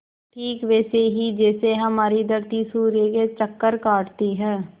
ठीक वैसे ही जैसे हमारी धरती सूर्य के चक्कर काटती है